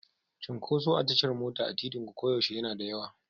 Cunkoso a tashar mota a titinku koyaushe yana da yawa.